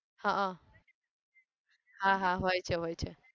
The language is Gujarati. હા હા હા હોય છે હોય છે